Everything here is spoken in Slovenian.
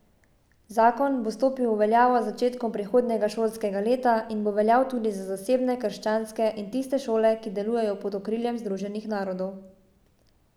Zakon bo stopil v veljavo z začetkom prihodnjega šolskega leta in bo veljal tudi za zasebne, krščanske in tiste šole, ki delujejo pod okriljem Združenih narodov.